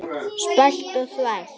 Spæld og þvæld.